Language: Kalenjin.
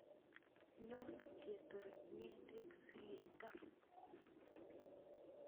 Nyon ketor ngedek sikechop.